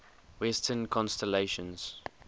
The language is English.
western constellations